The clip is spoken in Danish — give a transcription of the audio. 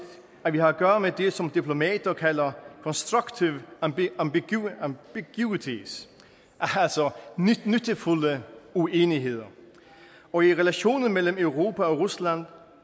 at vi har at gøre med det som diplomater kalder constructive ambiguity altså nyttefulde uenigheder og i relationen mellem europa og rusland